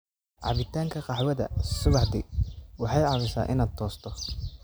Cabitaanka qaxwada subaxdii waxay caawisaa in aad toosto.